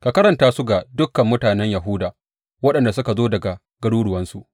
Ka karanta su ga dukan mutanen Yahuda waɗanda suka zo daga garuruwansu.